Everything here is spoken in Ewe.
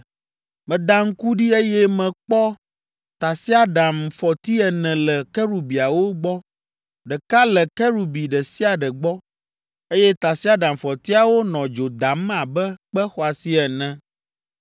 Meda ŋku ɖi, eye mekpɔ tasiaɖamfɔti ene le kerubiawo gbɔ, ɖeka le kerubi ɖe sia ɖe gbɔ, eye tasiaɖamfɔtiawo nɔ dzo dam abe kpe xɔasi ene.